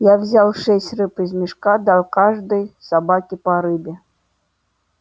я взял шесть рыб из мешка дал каждой собаке по рыбе